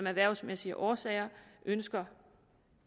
erhvervsmæssige årsager ønsker